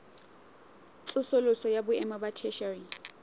tsosoloso ya boemo ba theshiari